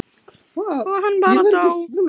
og hann bara dó.